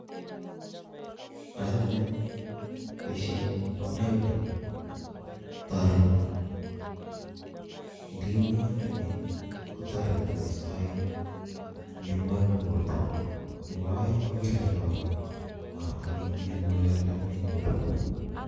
Achome poshoni amune ko ni; toreti, ndimiondoni kotoreti koistoi mienwokik eng porto nepo oeng kokirindoi mat kopit miemwokik alak eng porto.